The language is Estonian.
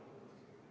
Austatud eesistuja!